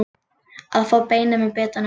Að fá beinið með bitanum